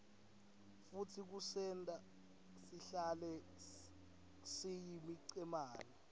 futsi kusenta sihlale siyimicemane